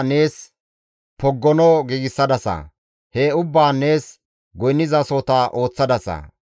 nees poggono giigsadasa; he ubbaan nees goynnizasohota ooththadasa.